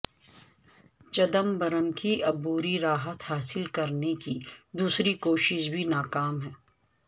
چدمبرم کی عبوری راحت حاصل کرنے کی دوسری کوشش بھی ناکام